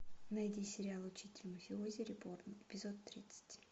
найди сериал учитель мафиози реборн эпизод тридцать